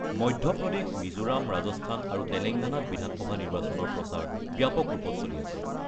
মধ্যপ্ৰদেশ, মিজোৰাম, ৰাজস্থান আৰু তেলেংগানাত বিধানসভা নিৰ্বাচনৰ প্ৰচাৰ ব্যাপক ৰূপত চলি আছে।